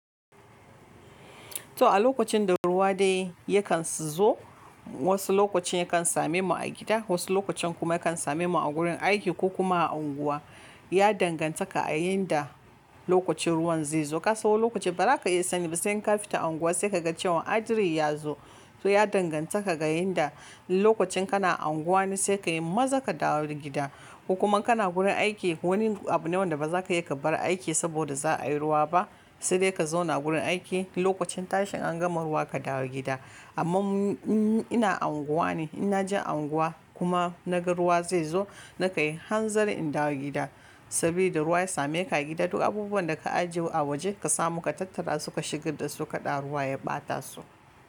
To a lokacin da ruwa dai yakan su zo, wasu lokacin yakan same mu a gida, wasu lokacin kuma yakan same mu a gurin aiki ko kuma a unguwa. Ya danganta ka a inda lokacin ruwan zai zo. Ka san wani lokacin ba za ka iya sani ba, sai ka fita unguwa sai ka ga cewa hadarin ya zo. To ya danganta ka ga inda lokacin kana a unguwa ne sai ka yi maza ka dawo gida ko kuma kana gurin aiki, wani abu ne wanda ba za ka iya ka bar aiki saboda za a yi ruwa ba, sai dai ka zauna gurin aiki. Lokacin tashin an gama ruwa ka dawo gida. Amma in ina a unguwa ne, ina jin unguwa kuma na ga ruwa zai zo, na kan yi hanzari in dawo gida. Saboda ruwa ya same ka gida duk abubuwan da ka ajiye a waje ka samu ka tattara suka shiga da suka da ruwa ya ɓata su.